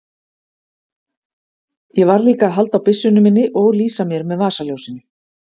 Ég varð líka að halda á byssunni minni og lýsa mér með vasaljósinu.